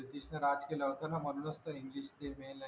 ब्रिटिशांनी राज्य केलं होतं ना म्हणूनच तर इंग्लिश ते मेन लाँगुयेज आहे